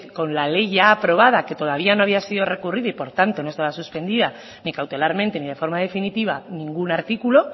con la ley ya aprobada que todavía no había sido recurrida y por tanto no estaba suspendida ni cautelarmente ni de forma definitiva ningún artículo